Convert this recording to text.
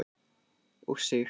og Sig.